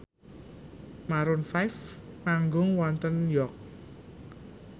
Maroon 5 manggung wonten York